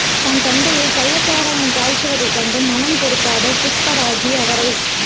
தன் தந்தையே கள்ளச் சாராயம் காய்ச்சுவதைக் கண்டு மனம் பொறுக்காத புஷ்பராஜி அவரைப்